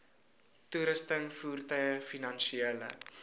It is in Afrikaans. toerusting voertuie finansiële